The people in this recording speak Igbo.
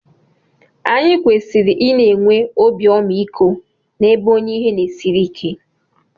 Anyị kwesịrị ị na-enwe obi ọmaiko n'ebe onye ihe na-esiri ike